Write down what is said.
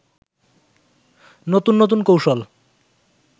নতুন নতুন কৌশল